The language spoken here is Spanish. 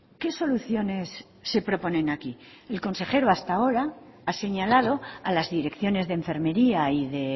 qué soluciones se proponen aquí el consejero hasta ahora ha señalado a las direcciones de enfermería y de